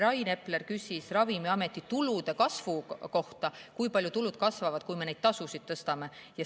Rain Epler küsis Ravimiameti tulude kasvu kohta, kui palju tulud kasvavad, kui me neid tasusid tõstame.